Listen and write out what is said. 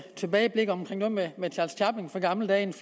tilbageblik omkring noget med gamle dage